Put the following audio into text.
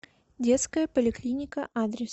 детская поликлиника адрес